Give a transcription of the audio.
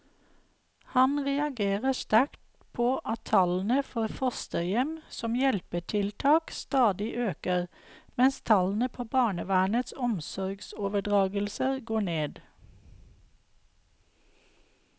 Han reagerer sterkt på at tallene for fosterhjem som hjelpetiltak stadig øker, mens tallene på barnevernets omsorgsoverdragelser går ned.